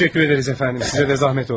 Təşəkkür edirik əfəndim, sizə də zəhmət oldu.